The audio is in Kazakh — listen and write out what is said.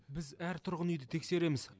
біз әр тұрғын үйді тексереміз